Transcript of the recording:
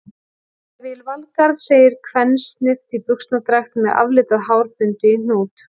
Ég vil Valgarð, segir kvensnift í buxnadragt með aflitað hár bundið í hnút.